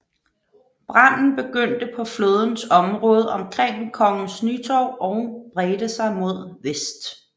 Branden begyndte på flådens område omkring Kongens Nytorv og bredte sig mod vest